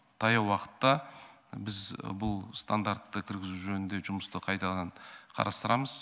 таяу уақытта біз бұл стандартты кіргізу жөнінде жұмысты қайтадан қарастырамыз